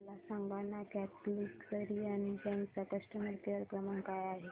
मला सांगाना Catholic Syrian Bank चा कस्टमर केअर क्रमांक काय आहे